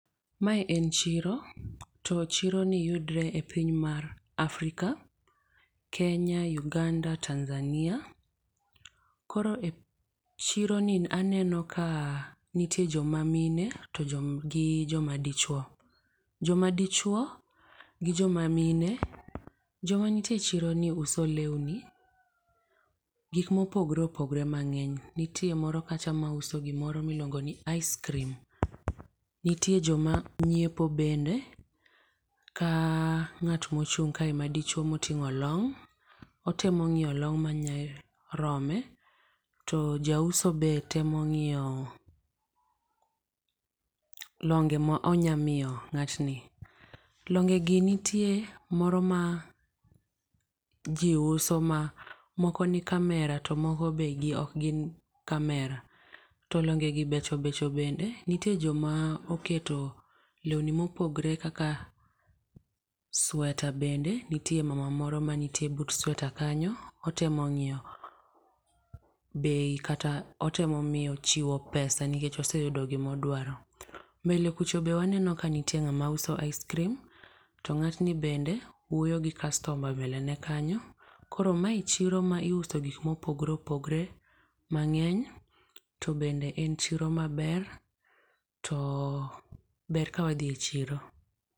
Mae en chiro. To chiro ni yudore e piny mar Afrika, Kenya, Uganda, Tanzania. Koro e chiro ni aneno ka nitie joma mine gi joma dichuo. Joma dichuo gi joma mine. Jomanitie e chiro ni uso lewni, gik mopogore opogore mang'eny. Nitiere moro kacha mauso gimoro miluongo ni ice cream. Nitie joma nyiepo bende. Ka ng'at mochung' kae madichuo moting'o long'. Otemo ng'io long' manyarome. To jauso be temo ng'iyo longe ma onya miyo ng'atni. Longe gi nitie moro ma ji uso ma moko ni kamera to moko be ok gin kamera. To longe gi becho becho bende. Nitie joma oketo lewni mopogore kaka sweta bende. Nitie mama moro maniitie but sweta kanyo otemo ng'iyo bei kata otemo miyo chiwo pesa nikech oseyudo gimodwaro. Mbele kucho be waneno ka nitie ng'ama uso ice cream to ng'atni bende wuoyo gi customer mbele ne kanyo. Koro mae chiro ma iuse gik mopogore opogore mang'eny to bende en chiro maber. To ber ka wadhi e chiro.